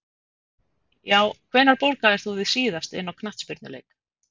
Já Hvenær borgaðir þú þig síðast inn á knattspyrnuleik?